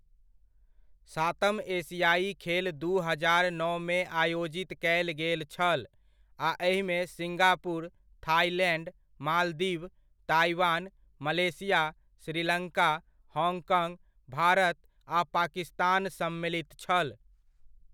सातम एशियाइ खेल दू हजार नओमे आयोजित कयल गेल छल, आ एहिमे Singapore, Thailand, Maldives, Taiwan, Malaysia, Sri Lanka, Hong Kong, Bharat, आ पाकिस्तान सम्मिलित छल।